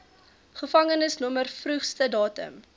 gevangenisnommer vroegste datum